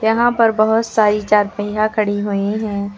यहां पर बहोत सारी चारपहिया खड़ी हुई हैं।